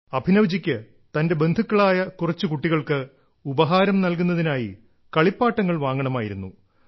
അഭിനവ്ജിക്ക് തന്റെ ബന്ധുക്കളായ കുറച്ചു കുട്ടികൾക്ക് ഉപഹാരം നൽകുന്നതിനായി കളിപ്പാട്ടങ്ങൾ വാങ്ങണമായിരുന്നു